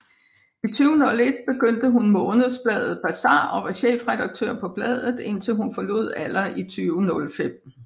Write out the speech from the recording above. I 2001 begyndte hun månedsbladet Bazar og var chefredatør på bladet indtil hun forlod Aller i 2005